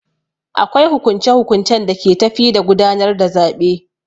Akwai hukunce hukuncen da ke tafi da gudanar da zaɓe.